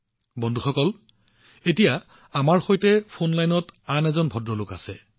বন্ধুসকল আমাৰ ফোন লাইনত আৰু এজন ভদ্ৰলোক জড়িত হৈছে